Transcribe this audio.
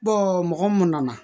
mɔgɔ mun nana